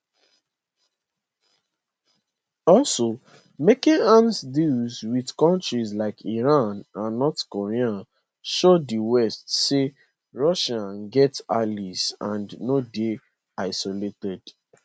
also making arms deals with countries like iran and north korea show di west say russia get allies and no dey isolated